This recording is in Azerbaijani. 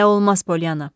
Belə olmaz, Poliana.